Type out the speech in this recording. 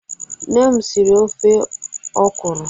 Nne m siri ofe okwụrụ.